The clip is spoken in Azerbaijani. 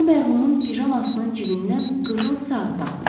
O mərhumun pijamasının cibindən qızıl saat tapmışdı.